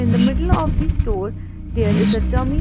In the middle of the store there is a dummy--